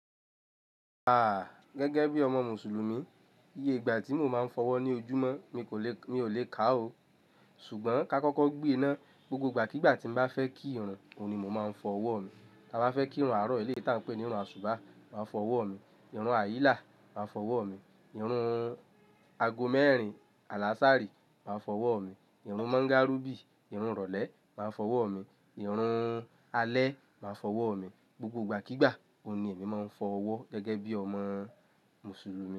Gẹ́gẹ́ bí ọmọ Mùsùlùmí, iye gba ti mo máa ń fọwọ́ ní ojúmọ́ mi ò lè kà ó. Ṣùgbọ́n ká kọ́kọ́ gbé e ná. Gbogbo ìgbàkígbà tí m bá fẹ́ kí irun, òun ni mo máa ń fọ ọwọ́ mi. Tá bá fẹ́ kí irun àárọ̀ eléyìí tí à ń pè ní irun àsùbá, màá fọ ọwọ́ mi, irun àyílá, màá fọ ọwọ́ mi, irun ago mẹ́rin, àlàsárí, màá fọ ọwọ́ mi, irun mọ́ńgárùbì, irun ìrọ̀lẹ́, màá fọ ọwọ́ mi, irun alẹ́, màá fọ ọwọ́ mi. Gbogbo ìgbàkígbà, òun ni èmi máa ń fọ ọwọ́ gẹ́gẹ́ bí ọmọ Mùsùlùmí.